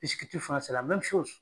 fana